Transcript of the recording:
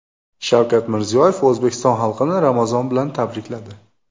Shavkat Mirziyoyev O‘zbekiston xalqini Ramazon bilan tabrikladi.